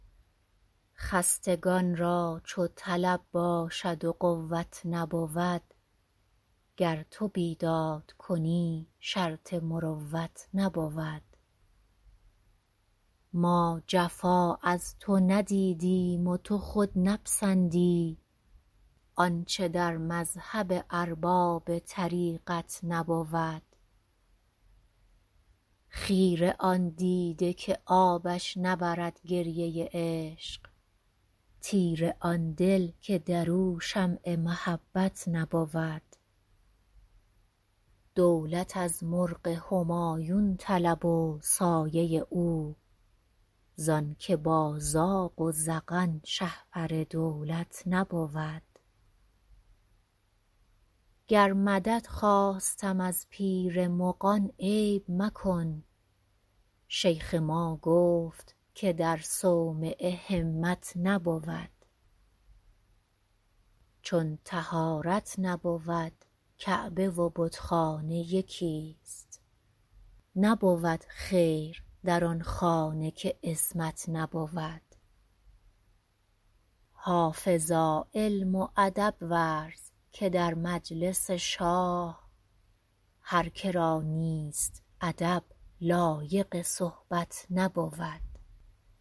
خستگان را چو طلب باشد و قوت نبود گر تو بیداد کنی شرط مروت نبود ما جفا از تو ندیدیم و تو خود نپسندی آنچه در مذهب ارباب طریقت نبود خیره آن دیده که آبش نبرد گریه عشق تیره آن دل که در او شمع محبت نبود دولت از مرغ همایون طلب و سایه او زان که با زاغ و زغن شهپر دولت نبود گر مدد خواستم از پیر مغان عیب مکن شیخ ما گفت که در صومعه همت نبود چون طهارت نبود کعبه و بتخانه یکیست نبود خیر در آن خانه که عصمت نبود حافظا علم و ادب ورز که در مجلس شاه هر که را نیست ادب لایق صحبت نبود